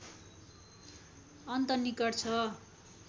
अन्त निकट छ